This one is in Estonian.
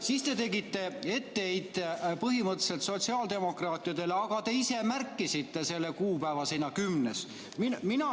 Siis te tegite etteheite põhimõtteliselt sotsiaaldemokraatidele, aga te ise märkisite selle kuupäeva sinna, 10. juuni.